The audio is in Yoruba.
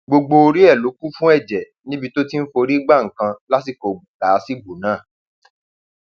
gbogbo orí ẹ ló kún fún ẹjẹ níbi tó ti ń forí gba nǹkan lásìkò làásìgbò náà